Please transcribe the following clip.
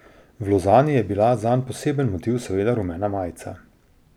V Lozani je bila zanj poseben motiv seveda rumena majica.